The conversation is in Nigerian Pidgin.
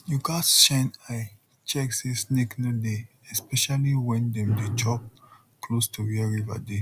you gats shine eye check say snake no dey especially when dem dey chop close to where river dey